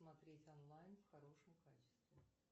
смотреть онлайн в хорошем качестве